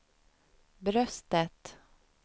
bröstet